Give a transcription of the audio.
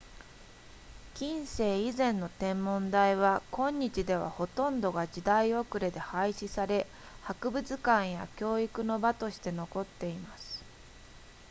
近世以前の天文台は今日ではほとんどが時代遅れで廃止され博物館や教育の場として残っています